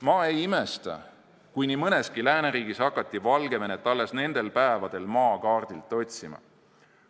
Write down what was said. Ma ei imesta, kui nii mõneski lääneriigis hakati Valgevenet alles nendel päevadel maakaardilt otsima.